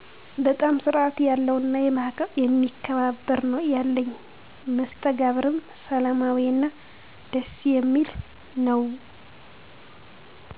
በጣም ስርአት ያለው እና የሚከባበር ነወ። ያለኝ መስተጋብርም ሰላማዊ እና ደስ የሚል ነው